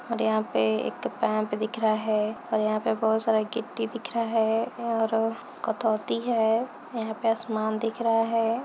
और यहाँ पे एक पम्प दिख रहा है और यहाँ पे बहुत सारा गिट्टी दिख रहा है और कतोती है यहाँ पे आसमान दिख रहा है।